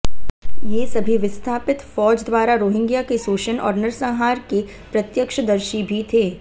ये सभी विस्थापित फ़ौज़ द्वारा रोहिंग्या के शोषण और नरसंहार के प्रत्यक्षदर्शी भी थे